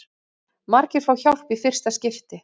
Margir fá hjálp í fyrsta skipti